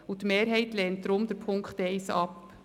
Die Mehrheit der EVP lehnt den Punkt 1 daher ab.